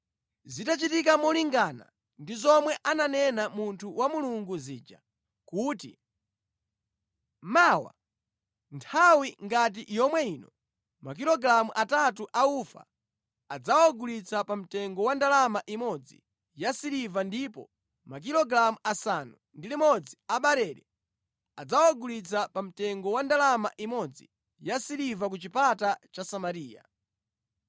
Zinachitika molingana ndi zomwe ananena munthu wa Mulungu zija kuti “Mawa nthawi ngati yomwe ino, makilogalamu atatu a ufa adzawagulitsa pa mtengo wa ndalama imodzi yasiliva ndipo makilogalamu asanu ndi limodzi a barele adzawagulitsa pa mtengo wa ndalama imodzi yasiliva ku chipata cha Samariya.”